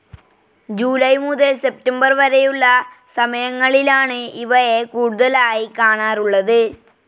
July മുതൽ September വരെയുള്ള സമയങ്ങളിലാണ് ഇവയെ കൂടുതലായി കാണാറുള്ളത്.